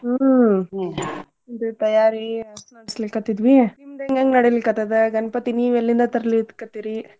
ಹ್ಮ್ ಅದರ್ ತಯಾರಿ ಹಸ್ ಮಾಡ್ಸ್ಲಿಕತ್ತಿದ್ವಿ ನಿಮ್ದ್ ಹೆಂಗ್ ಹೆಂಗ್ ನಡಿಲಿ ಕತ್ತದ ಗಣ್ಪತಿ ನೀವ್ ಎಲ್ಲಿಂದ ತರ್ಲಿ ಕತ್ತಿರೀ?